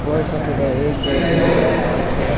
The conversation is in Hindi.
बहुत सारा टोटो एक दो तीन चार पांच छे।